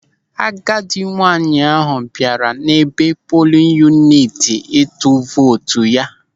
Agadi nwaanyị ahụ bịara n'ebe polin yuniti ịtụ vootu ya.